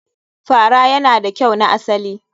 Fara yana da kyau na asali.